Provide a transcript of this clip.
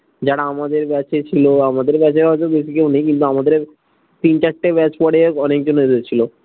যারা আমাদের ব্যাচে ছিলো আমাদের ব্যাচে অত বেশি কেউ নেই কিন্ত আমাদের তিন চারটে ব্যাচ পরে অনেকজন এসেছিলো